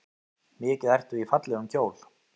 Mikið ertu í fallegum kjól.